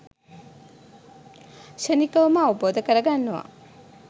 ක්ෂණිකවම අවබෝධ කරගන්නව